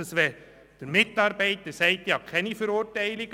Nehmen wir an, ein Mitarbeiter sagt, er habe keine Verurteilungen.